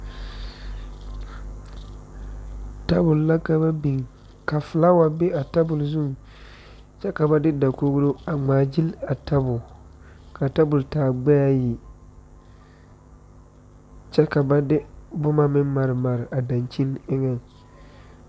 Tabul la ka ba biŋ ka filaawa be a tabul zuŋ kyɛ ka ba de dakogro a ŋmaagyil a tabul , kaa tabul taa gbɛɛ ayi kyɛ ka ba de boma maremare a daŋkyen eŋeŋ.